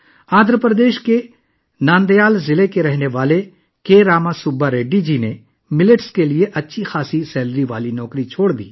آندھرا پردیش کے نندیال ضلع کا رہنے والا کے وی راما سبا ریڈی جی نے باجرے کی خاطر اچھی تنخواہ والی نوکری چھوڑ دی